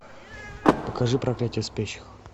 покажи проклятие спящих